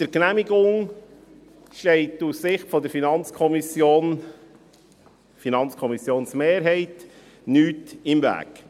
Der Genehmigung steht aus Sicht der FiKo-Mehrheit nichts im Weg.